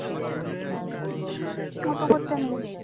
অতো করতা নাই